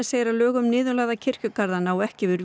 segir að lög um niðurlagða kirkjugarða nái ekki yfir